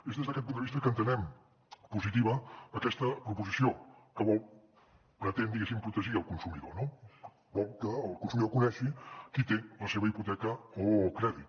és des d’aquest punt de vista que entenem positiva aquesta proposició que vol pretendre diguéssim protegir el consumidor no vol que el consumidor conegui qui té la seva hipoteca o crèdit